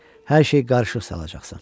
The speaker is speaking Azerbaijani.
Hər şeyi qarışıq salacaqsan.